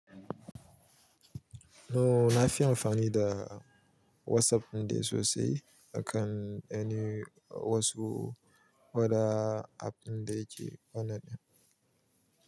Nawa nafi amfani da WhatsApp ɗin da sosai akan any wasu other app ɗin da yake online.